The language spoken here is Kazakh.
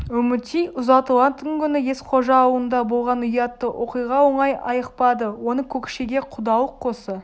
үмітей ұзатылатын күні есқожа аулында болған ұятты оқиға оңай айықпады оны көкшеге құдалық қосса